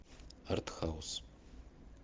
артхаус